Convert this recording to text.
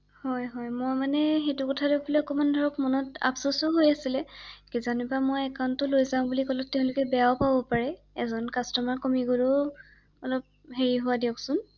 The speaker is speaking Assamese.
হয় হয় মই মানে সেইটো কথা লৈ পেলাই অকণমান মনত অলপ অপচোচ হৈ আছিলে কিজানিবা মই একান্টটো লৈ যাম বুলি ক’লে তেওঁলোকে বেয়াও পাব পাৰে ৷এজন কাষ্টমাৰ কমি গ’লেও অলপ সেই হয় দিয়কচোন ৷